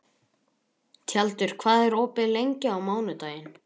Tjaldur, hvað er opið lengi á mánudaginn?